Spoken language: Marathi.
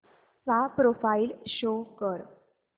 चा प्रोफाईल शो कर